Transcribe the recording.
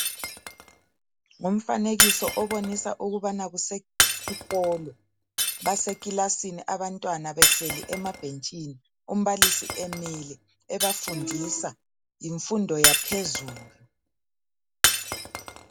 Ngumfanekiso obonisa ukubana kusesikolo basekilasini abantwana behleli emabhentshini umbalisi emile ebafundisa yimfundo yaphezulu.